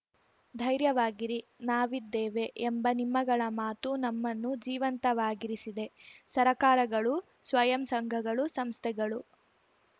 ಧೈರ್ಯವಾಗಿರಿ ನಾವಿದ್ದೇವೆ ಎಂಬ ನಿಮ್ಮಗಳ ಮಾತು ನಮ್ಮನ್ನು ಜೀವಂತವಾಗಿರಿಸಿದೆ ಸರಕಾರಗಳು ಸ್ವಯಂ ಸಂಘಗಳು ಸಂಸ್ಥೆಗಳು